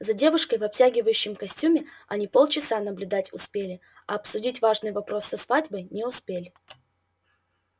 за девушкой в обтягивающем костюме они полчаса наблюдать успели а обсудить важный вопрос со свадьбой не успели